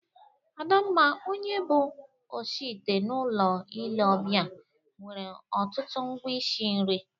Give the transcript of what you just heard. Adamma, onye bụ oshiite n'ụlọ ile ọbịa, nwere ọtụtụ ngwa ishi nri.